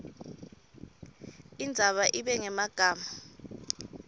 indzaba ibe ngemagama